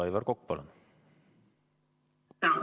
Aivar Kokk, palun!